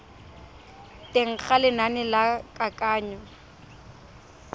teng ga lenane la kananyo